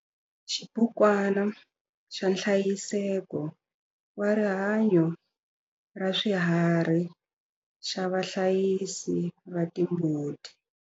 Xibukwana xa nhlayiseko wa rihanyo ra swiharhi xa vahlayisi va timbuti.